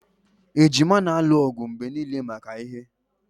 Ejima na-alụ ọgụ mgbe niile maka ihe